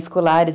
Escolares.